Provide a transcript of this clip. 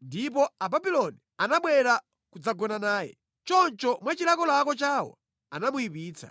Ndipo Ababuloni anabwera nʼkudzagona naye. Choncho mwa chilakolako chawo anamuyipitsa.